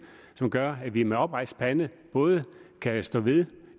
som gør at vi med oprejst pande både kan stå ved